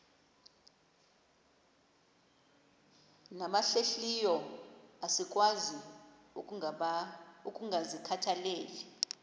nabahlehliyo asikwazi ukungazikhathaieli